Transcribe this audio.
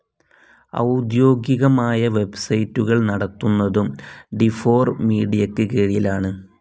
ഔദ്വോഗികമായ വെബ്സൈറ്റുകൾ നടത്തുന്നതും ഡിഫോർ മീഡിയക്ക് കീഴിലാണ്.